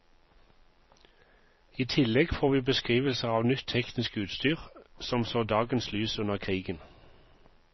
I tillegg får vi beskrivelser av nytt teknisk utstyr som så dagens lys under krigen.